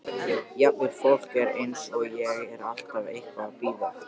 Jafnvel fólk eins og ég er alltaf eitthvað að bíða.